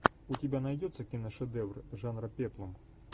у тебя найдется киношедевры жанра пеплум